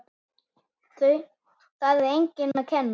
Það er engum að kenna.